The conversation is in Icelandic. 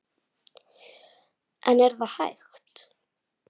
En er það hægt?